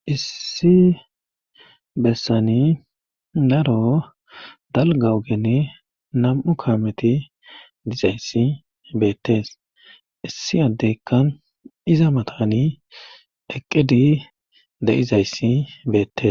Issi bessani naro dalga ogeni nam7u kaameti dizayssi beettees issi addeykkan iza matani eqqedi de7izayssi beettes.